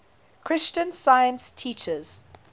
christian science teaches